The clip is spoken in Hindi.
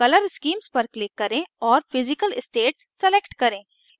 color schemes पर click करें और physical states select करें